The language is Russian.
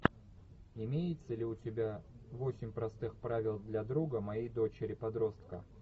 имеется ли у тебя восемь простых правил для друга моей дочери подростка